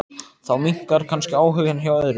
Þá minnkar kannski áhuginn hjá öðrum.